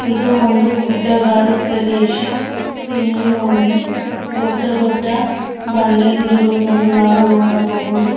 ಇದು ಒಂದು ಗುಡ್ಡ ಗಾಡು ಪ್ರದೇಶ ಇಲ್ಲಿ ಒಂದು ದೊಡ್ಡ ದೊಡ್ಡ ಬಂಡೆಗಳಿರುವುದನ್ನು ನಾವು ನೋಡಬಹುದು.